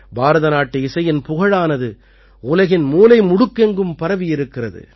பாரதநாட்டு இசையின் புகழானது உலகின் மூலை முடுக்கெங்கும் பரவியிருக்கிறது